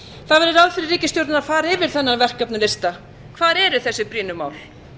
það væri ráð fyrir ríkisstjórnina að fara yfir þennan verkefnalista hvar eru þessi brýnu mál